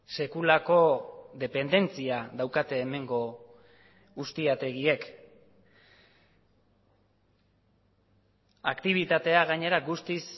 sekulako dependentzia daukate hemengo uztiategiek aktibitatea gainera guztiz